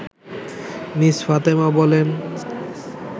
miss Fatema বলেন